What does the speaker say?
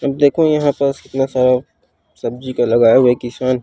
अब देखो यहाँ पस कितना सारा सब्जी का लगया हुआ है किशान --